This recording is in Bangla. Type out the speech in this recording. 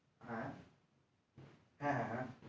হ্যা হ্যাঁ হ্যাঁ হ্যাঁ হ্যাঁ